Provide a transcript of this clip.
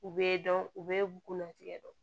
U bɛ dɔn u bɛ bulu tigɛ